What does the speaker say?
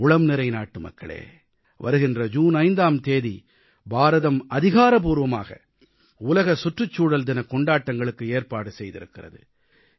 என் உளம்நிறைந்த நாட்டுமக்களே வருகின்ற ஜூன் 5ஆம் தேதி பாரதம் அதிகாரப்பூர்வமாக உலக சுற்றுச்சூழல் தினக் கொண்டாட்டங்களுக்கு ஏற்பாடு செய்திருக்கிறது